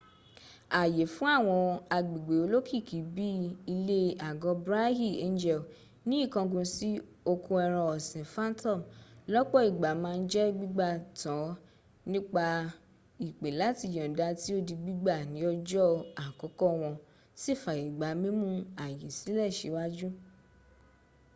àyè fún àwọn agbègbè olókìkí bi ilè àgọ brighy angel ní ìkángun sí oko ẹran ọ̀sìn phantom lọ́pọ̀ ìgbà màa ń jẹ́ gbígbà tan nípa ìpè làti yọ̀nda tí o di gbígbà ní ọjọ́ àkọ́kọ́ wọn si fàyẹ̀ gba mímú àyè sílẹ̀ síwáájú